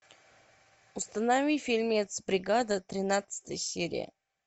установи фильмец бригада тринадцатая серия